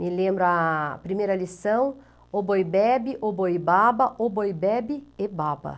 Me lembro a primeira lição, Oboibebe, Oboibaba, Oboibebe e Baba.